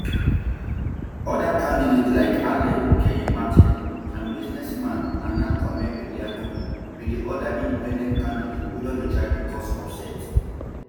um oda candidates like alan kyerema ten and businessman nana kwame bediako um be di oda independent candidates wey don dey try to cause upset